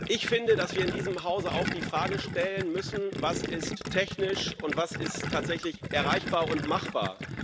Ich finde, dass wir in diesem Hause auch die Frage stellen müssen Was ist technisch und was ist tatsächlich erreichbar und machbar?